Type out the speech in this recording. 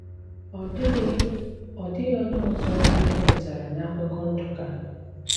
Ọ́ dị́ghị Ọ́ dị́ghị ónyé ọ̀zọ é dépútará n’ákụkọ́ Nduká.